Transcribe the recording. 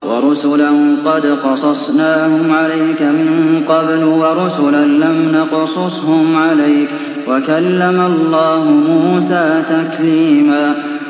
وَرُسُلًا قَدْ قَصَصْنَاهُمْ عَلَيْكَ مِن قَبْلُ وَرُسُلًا لَّمْ نَقْصُصْهُمْ عَلَيْكَ ۚ وَكَلَّمَ اللَّهُ مُوسَىٰ تَكْلِيمًا